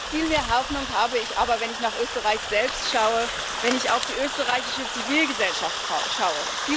Viel mehr Hoffnung habe ich aber, wenn ich nach Österreich selbst schaue, wenn ich auf die österreichische Zivilgesellschaft schaue.